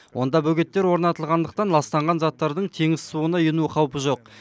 онда бөгеттер орнатылғандықтан ластанған заттардың теңіз суына ену қаупі жоқ